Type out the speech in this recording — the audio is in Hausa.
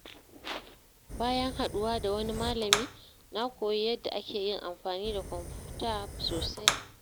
Bayan haɗuwa da wani malami, na koyi yadda ake yin amfani da kwamfuta sosai.